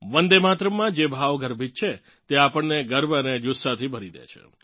વંદે માતરમમાં જે ભાવ ગર્ભિત છે તે આપણને ગર્વ અને જુસ્સાથી ભરી દે છે